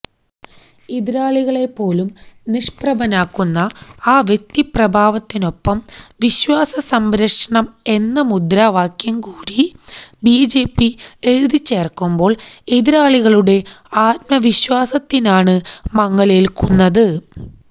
എതിരാളികളെപ്പോലും നിഷ്പ്രഭനാക്കുന്ന ആ വ്യക്തിപ്രഭാവത്തിനൊപ്പം വിശ്വാസസംരക്ഷണം എന്ന മുദ്രാവാക്യം കൂടി ബിജെപി എഴുതിച്ചേര്ക്കുമ്പോള് എതിരാളികളുടെ ആത്മവിശ്വാസത്തിനാണ് മങ്ങലേല്ക്കുന്നത്